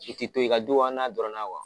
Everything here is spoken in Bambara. Su tɛ to yen ka du an n'a dɔrɔnna wa.